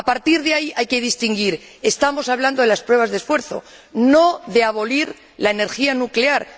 A partir de ahí hay que distinguir estamos hablando de las pruebas de esfuerzo, no de abolir la energía nuclear.